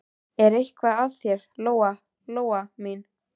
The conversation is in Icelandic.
Er eitthvað að þér, Lóa Lóa mín?